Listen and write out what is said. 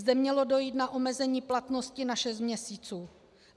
Zde mělo dojít na omezení platnosti na šest měsíců.